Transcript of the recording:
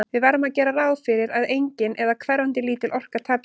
Við verðum að gera ráð fyrir að engin, eða hverfandi lítil, orka tapist.